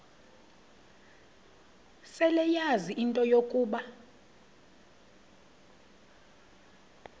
seleyazi into yokuba